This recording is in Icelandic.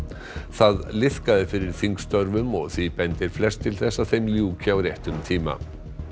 það liðkaði fyrir þingstörfum og því bendir flest til að þeim ljúki á réttum tíma